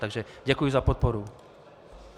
Takže děkuji za podporu.